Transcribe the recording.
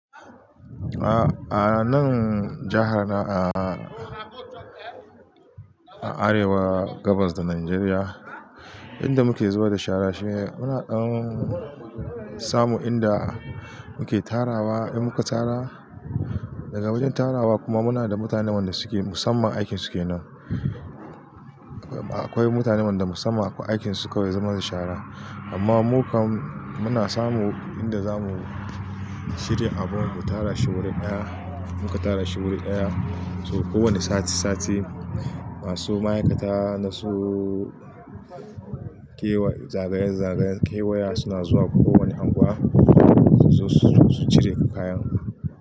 A nan jaha na a'a, a arewa gabas da Najeriya, inda muke zubar da shara shine muna ɗan samun inda muke tarawa, in muka tara, daga wajen tarawa kuma muna da mutanen da suke musamman aikin su kenan. Akwai mutanen da musamman aikin su kawai zabar da shara. Amma mu kam muna samun inda zamu shirya abin mu tara shi wurin ɗaya. In muka tara shi wurin ɗaya, to kowane sati-sati, masu ma'aikata na su da yawa zagaye-zagayen suna zuwa kowani anguwa suzo su cire.